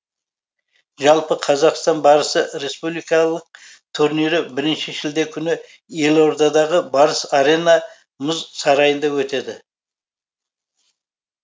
жалпы қазақстан барысы республикалық турнирі бірінші шілде күні елордадағы барыс арена мұз сарайында өтеді